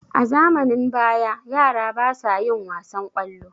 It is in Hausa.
a zamanin baya yara basa yin wasan kwallo